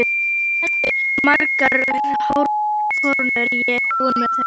Hvað heldurðu margar hórkonur hér og þar nú þegar?